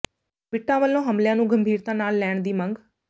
ਬਿੱਟਾ ਵੱਲੋਂ ਹਮਲਿਆਂ ਨੂੰ ਗੰਭੀਰਤਾ ਨਾਲ ਲੈਣ ਦੀ ਮੰਗ